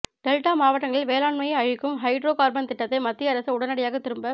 delta மாவட்டங்களில் வேளாண்மையை அழிக்கும் ஹைட்ரோ காா்பன் திட்டத்தை மத்திய அரசு உடனடியாக திரும்பப்